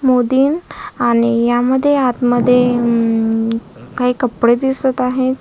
आणि यामध्ये आतमध्ये अ काही कपडे दिसत आहे.